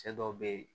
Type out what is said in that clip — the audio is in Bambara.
Cɛ dɔw be yen